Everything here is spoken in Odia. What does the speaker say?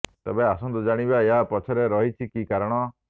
ତେବେ ଆସନ୍ତୁ ଜାଣିବା ଏହା ପଛରେ ରହିଛି କି କାରଣ